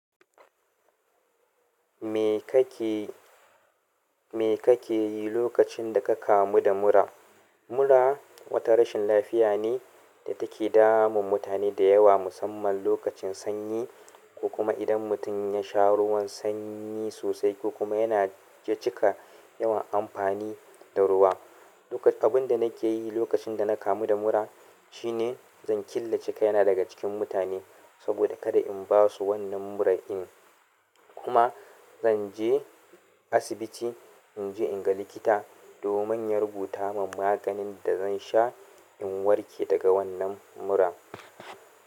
Me kake, me kake yi lokacin da ka kamu da mura? Mura wata rashin lafiya ne da take damun mutane da yawa musamman lokacin sanyi, ko kuma idan mutum ya sha ruwan sanyi sosai ko kuma yana cika yawan amfani da ruwa. Lokan, abun da nake yi lokacin da na kamu da mura shine zan killace kaina daga cikin mutane saboda kada in basu wannan mura in. Kuma zan je asibiti in je in ga likita domin ya rubuta min maganin da zan sha in warke daga wannan muran.